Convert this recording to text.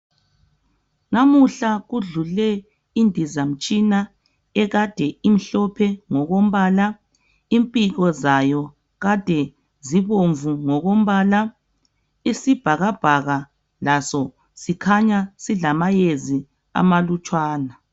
Namuhla kudlule indizamtshina ekade imhlophe ngokombala. Impiko zayo made zibomvu ngokombala. Isibhakabhaka laso sikhanya silamayezi amalutshwana